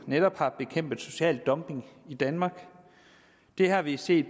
netop har bekæmpet social dumping i danmark det har vi set